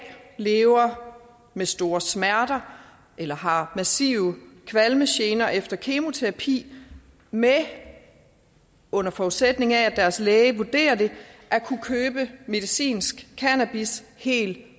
lever med store smerter eller har massive kvalmegener efter kemoterapi med under forudsætning af at deres læge vurderer det at kunne købe medicinsk cannabis helt